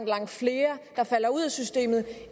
langt flere der falder ud af systemet